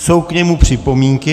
Jsou k němu připomínky?